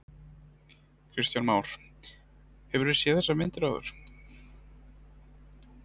Kristján Már: Hefurðu séð þessar myndir áður?